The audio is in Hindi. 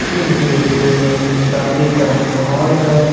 इस दृश्य में शादी का माहौल है।